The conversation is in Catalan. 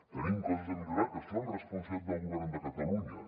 tenim coses a millorar que són responsabilitat del govern de catalunya